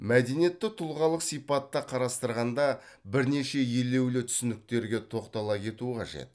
мәдениетті тұлғалық сипатта қарастырғанда бірнеше елеулі түсініктерге тоқтала кету қажет